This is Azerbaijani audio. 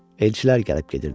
Elçilər gəlib gedirdi.